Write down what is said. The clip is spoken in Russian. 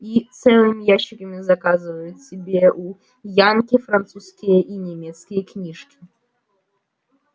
и целыми ящиками заказывают себе у янки французские и немецкие книжки